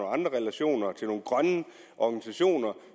andre relationer til nogle grønne organisationer